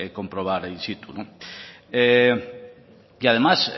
comprobar in situ y además